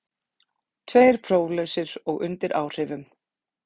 Tveir próflausir og undir áhrifum